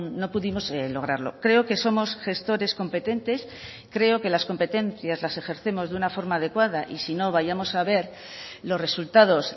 no pudimos lograrlo creo que somos gestores competentes creo que las competencias las ejercemos de una forma adecuada y si no vayamos a ver los resultados